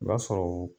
I b'a sɔrɔ o